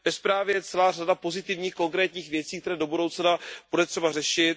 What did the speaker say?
Ve zprávě je celá řada pozitivních, konkrétních věcí, které do budoucna bude třeba řešit.